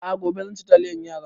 A a, gobe zan ci taliyar yaran.